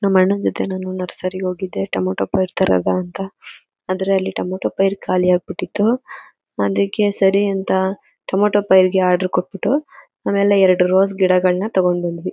ನಮ್ ಅಣ್ಣನ್ ಜೊತೆ ನರ್ಸರಿ ಗೆ ಹೋಗಿದೆ ಟೊಮೊಟೊ ಪೈರ್ ತರದ ಅಂತ ಆದ್ರೆ ಅಲ್ಲಿ ಟೊಮೊಟೊ ಪೈರು ಖಾಲಿ ಆಗ್ಬಿಟ್ಟಿತ್ತು ಅದಕೆ ಸರಿ ಅಂತ ಟೊಮೇಟೊ ಪೈರ್ಗೆಆರ್ಡರ್ ಕೊಟ್ಟಬಿಟ್ಟು ಆಮೇಲೆ ಎರಡ್ ರೋಜ್ ಗಿಡಗಳ್ನ ತೊಗೊಂಡ್ ಬಂದ್ವಿ.